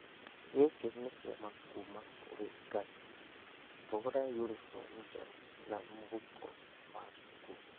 Gĩkĩ nĩ kĩama kuuma kũrĩ Ngai. Tũgũre unibomu njerũ na mũhuko wa cukuru.